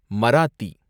Marathi